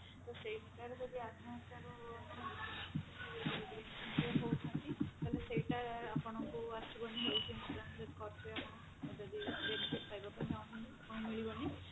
ତ ଯଦି ଆତ୍ମହତ୍ୟା ହଉଛନ୍ତି ତାହେଲେ ସେଇଟା ଆପଣଙ୍କୁ ଆସିବ ଯଦି health insurance କରିଥିବେ ଆପଣ ଯଦି benefit ପାଇଁ ବାକୁ ଚାହୁଁଛନ୍ତି ଆପଣଙ୍କୁ ମିଳିବନି